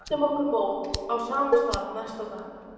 Við mæltum okkur mót á sama stað næsta dag.